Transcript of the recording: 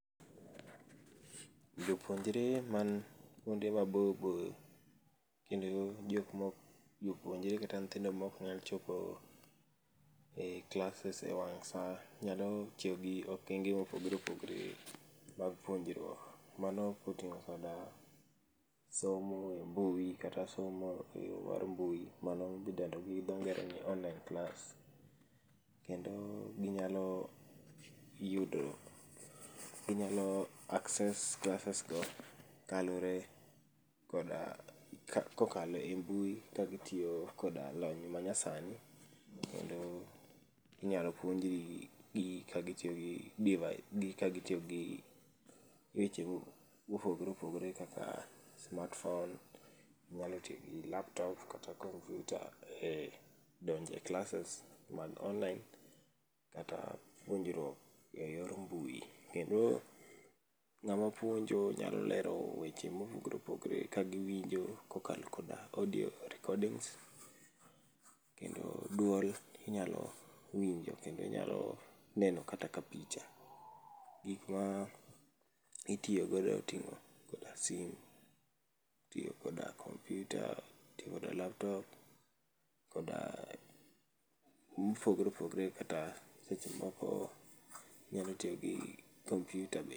Jopuonjre man kuonde maboyo maboyo, kendo jok maok jopuonjre kata nyithindo maok nyal chopo e classes ewang' saa nyalo tiyogi okenge mopogore opogore mag puonjruok mano oting'o koda somo embui kata somo eyo mar mbui mano midendo gi dhoo ngere ni online class. Kendo gi nyalo yudo gi nyalo access classes go kaluore koda, kokalo e mbui ka gi tiyo koda lony manyasani. Kendo inyalo puonjgi ka gi tiyogi device gi ka gi tiyogi weche mopogore opogore kaka smart phone, gi nyalo tiyogi laptop kata computer e donje classes man online kata puonjruok eyor mbui kendo ng'ama puonjo nyalo lero weche mopogore opogore ka winginjo kokalo koda audio recordings kendo duol inyalo winjo kendo inyalo neno kata ka picha gik ma itiyo godo etimo koda simu itiyo koda computer, itiyo koda laptop koda -- mopogore opogore kata seche moko inyalo tiyogi computer be.